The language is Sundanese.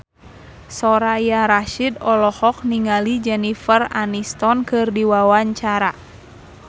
Soraya Rasyid olohok ningali Jennifer Aniston keur diwawancara